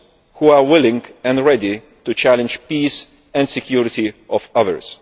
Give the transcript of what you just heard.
who are willing and ready to challenge the peace and security of others.